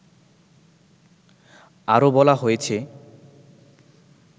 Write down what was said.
আরো বলা হয়েছে